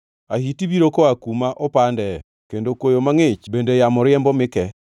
Ahiti biro koa kuma opandee, kendo koyo mangʼich bende yamo riembo mi ke.